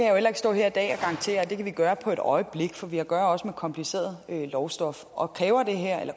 heller ikke stå her i dag og garantere at vi kan gøre det på et øjeblik for vi har også med kompliceret lovstof og